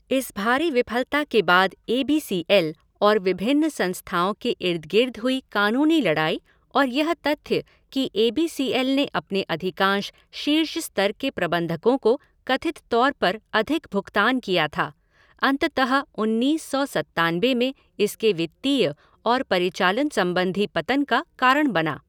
इस भारी विफलता के बाद ए बी सी एल और विभिन्न संस्थाओं के इर्द गिर्द हुई कानूनी लड़ाई और यह तथ्य कि ए बी सी एल ने अपने अधिकांश शीर्ष स्तर के प्रबंधकों को कथित तौर पर अधिक भुगतान किया था, अंततः उन्नीस सौ सत्तानबे में इसके वित्तीय और परिचालन संबंधी पतन का कारण बना।